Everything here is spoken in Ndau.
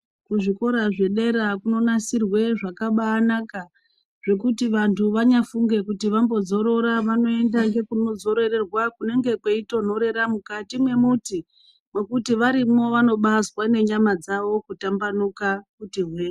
Kuzvikora zvedera kunonasirwe zvakabanaka zvekuti vantu vanyafunge kuti vambozorora vanoenda kunozororerwa mukati mwe muti mwekuti varimwo vanobazwa nenyama dzavo kutambanuka kuti hwe.